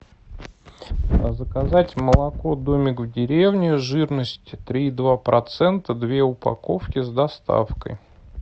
заказать молоко домик в деревне жирность три и два процента две упаковки с доставкой